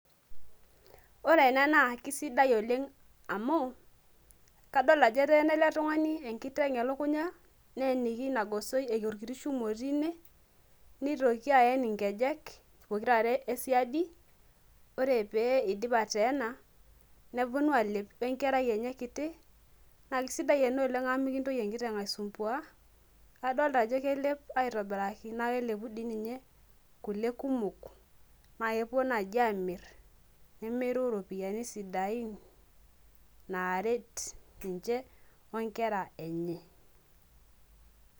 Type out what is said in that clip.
Ore ena naa kesidai oleng' amu kadol ajo eteena ele tung'ani enkiteng' elukunya neyeniki ilo gosoi arashu ilo kiti shuma otii ine nitoki aen nkejek pokirare esiadi, ore pee iidip ateena neponu aalep onkerai enye kitinaa kesidai ena oleng' amu mikintoki enkiteng' aisumbuaa kadolita aajo kelepito aitobiraki naa kelepu dii ninye kule kumok naa kepuo naai aamirr nemiru iropiyiani sidain naaret ninche onkera enye.